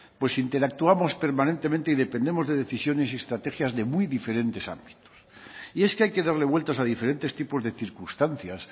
pues interactuamos permanentemente y dependemos de decisiones y estrategias de muy diferentes ámbitos y es que hay que darle vueltas a diferentes tipos de circunstancias